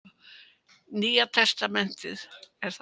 Nýja testamentið.